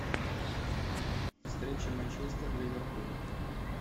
встреча манчестер ливерпуль